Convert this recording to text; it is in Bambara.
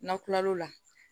N'an kila lo la